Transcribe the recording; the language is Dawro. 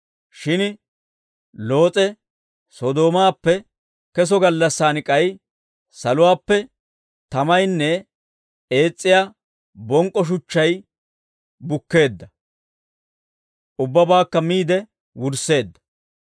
Shin Loos'e, Sodoomaappe keso gallassaan k'ay saluwaappe tamaynne ees's'iyaa bonk'k'o shuchchay bukkeedda; ubbabaakka miide wursseedda.